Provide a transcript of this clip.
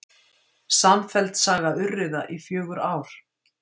Samfelld saga urriða í fjögur ár